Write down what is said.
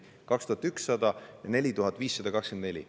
Seega, 2100 ja 4524.